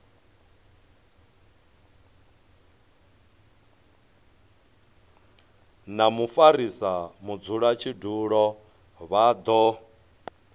na mufarisa mudzulatshidulo vha do